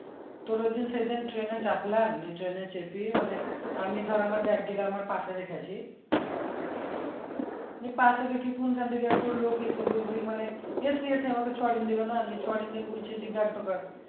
তোর ওইযে সেজে ট্রেনে চাপিয়ে আনলি ট্রেনে চেপিয়ে মানে আমি ধর আমার রেখে আসি